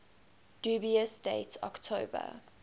dubious date october